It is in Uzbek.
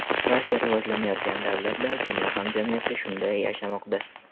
Barcha rivojlangan davlatlar, dunyo hamjamiyati shunday yashamoqda.